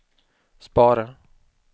spara